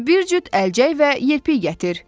Mənə bir cüt əlcək və yelpik gətir.